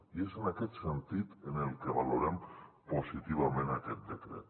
i és en aquest sentit en el que valorem positivament aquest decret